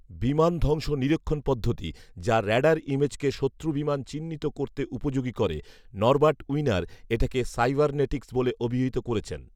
বিমান ধ্বংস নিরীক্ষণ পদ্ধতি যা রাডার ইমেজকে শত্রু বিমান চিহ্নিত করতে উপযোগী করে, নরবার্ট উইনার়় এটাকে সাইবারনেটিক্স বলে অভিহিত করেছেন